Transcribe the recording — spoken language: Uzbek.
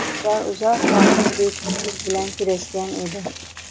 Ular uzoq vaqt bepushtlik bilan kurashgan edi.